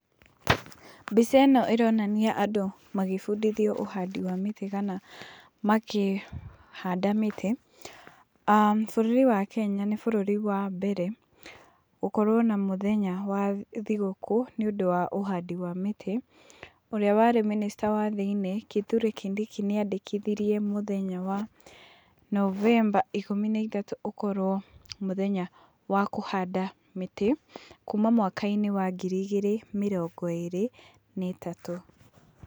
Mbica ĩno ĩronania andũ magĩbundithio ũhandi wa mĩtĩ kana makĩhanda mĩtĩ. Aah Bũrũri wa Kenya nĩ bũrũri wa mbere gũkorwo na mũthenya wa thigũkũ nĩũndũ wa ũhandi wa mĩtĩ. Ũrĩa warĩ mĩnĩcita wa thĩiniĩ, Kithure Kindiki, nĩandĩkithirie mũthenya wa Novemba ikũmi na ithatũ ũkorwo mũthenya wa kuhanda mĩtĩ, kuma mwaka-inĩ wa ngiri igĩrĩ mĩrongo ĩrĩ na ĩtatũ.